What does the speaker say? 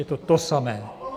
Je to to samé.